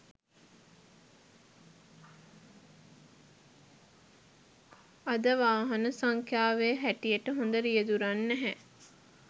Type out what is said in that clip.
අද වාහන සංඛ්‍යාවේ හැටියට හොඳ රියැදුරන් නැහැ